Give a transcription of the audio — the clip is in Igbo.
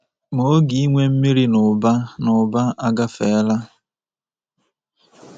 Ma oge ịnwe mmiri n’ụba n’ụba agafeela.